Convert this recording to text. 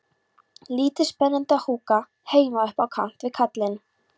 Lítið spennandi að húka heima upp á kant við kallinn.